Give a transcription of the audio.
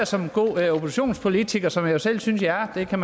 som en god oppositionspolitiker som jeg jo selv synes jeg er det kan